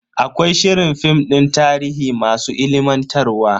Akwai shirin film din tarihi masu ilimantarwa.